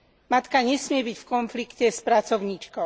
Matka nesmie byť v konflikte s pracovníčkou.